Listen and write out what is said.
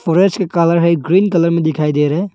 Colour है green colour में दिखाई दे रहे है।